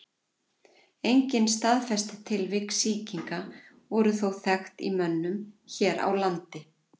Engin staðfest tilvik sýkinga voru þó þekkt í mönnum hér á landi.